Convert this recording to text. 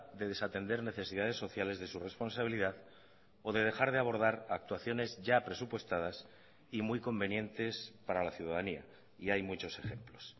de desatender necesidades sociales de su responsabilidad o de dejar de abordar actuaciones ya presupuestadas y muy convenientes para la ciudadanía y hay muchos ejemplos